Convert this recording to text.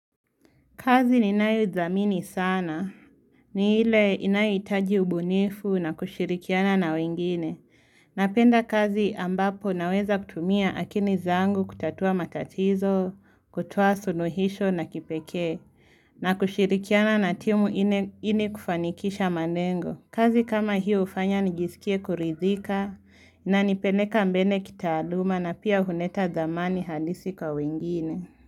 Kazi ninayoidhamini sana. Ni ile inayohitaji ubunifu na kushirikiana na wengine. Napenda kazi ambapo naweza kutumia akili zangu kutatua matatizo, kutoa suluhisho na kipekee. Na kushirikiana na timu ilikufanikisha malengo. Kazi kama hiyo hufanya nijisikie kuridhika na inanipeleka mbele kitaaluma na pia huleta dhamani halisi kwa wengine.